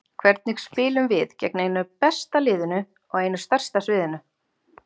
Hvernig spilum við gegn einu besta liðinu á einu stærsta sviðinu?